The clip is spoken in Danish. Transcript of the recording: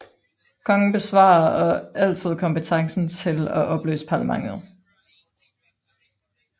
Kongen bevarer og altid kompetencen til at opløse parlamentet